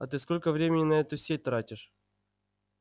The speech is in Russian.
а ты сколько времени на эту сеть тратишь